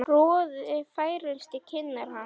Roði færist í kinnar hans.